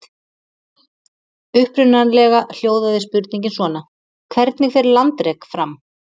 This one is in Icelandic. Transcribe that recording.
Upprunalega hljóðaði spurningin svona: Hvernig fer landrek fram?